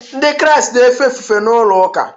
Ndị Kraịst na-efe ofufe na ụlọ ụka